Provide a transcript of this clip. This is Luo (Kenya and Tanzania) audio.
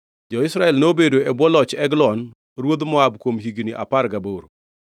Jo-Israel nobedo e bwo loch Eglon ruodh Moab kuom higni apar gaboro.